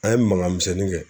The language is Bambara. An ye mankan misɛnnin kɛ